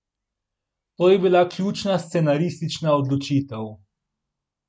To je bila ključna scenaristična odločitev.